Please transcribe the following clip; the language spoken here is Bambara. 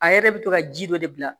A yɛrɛ bɛ to ka ji dɔ de bila